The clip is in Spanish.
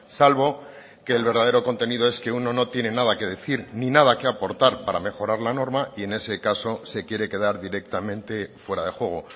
salvo que el verdadero contenido es que uno no tiene nada que decir ni nada que aportar para mejorar la norma y en ese caso se quiere quedar directamente fuera de juego